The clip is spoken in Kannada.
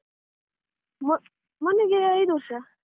ಮೋ~ ಮೊನ್ನೆಗೆ ಐದು ವರ್ಷ.